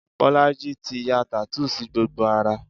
Bolaji ti ya tattoo sí gbogbo ara